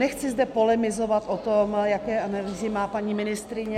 Nechci zde polemizovat o tom, jaké analýzy má paní ministryně.